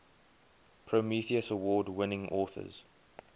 prometheus award winning authors